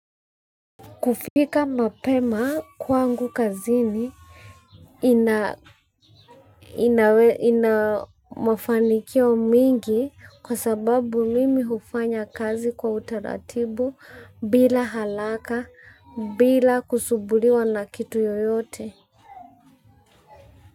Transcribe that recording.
Kufika mapema kwangu kazini ina mafanikio mengi kwa sababu mimi hufanya kazi kwa utaratibu bila haraka bila kusumbuliwa na kitu yoyote.